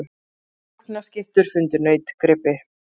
Rjúpnaskyttur fundu nautgripi